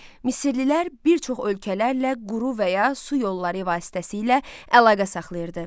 Misirlilər bir çox ölkələrlə quru və ya su yolları vasitəsilə əlaqə saxlayırdı.